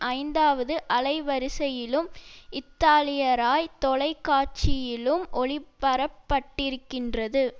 ஐந்தாவது அலைவரிசையிலும் இத்தாலியராய் தொலை காட்சியிலும் ஒளிபரப்பட்டிருக்கின்றது